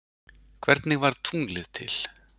hvernig varð tunglið til